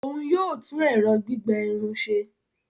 Òún yóò tún ẹrọ gbigbẹ Irun ṣe